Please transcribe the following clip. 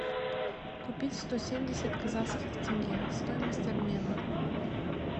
купить сто семьдесят казахских тенге стоимость обмена